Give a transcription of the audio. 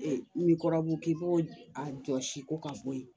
Ni kɔrɔbɔrɔ k'i b'o a jɔsi ko ka bɔ ye